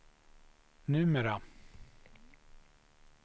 numera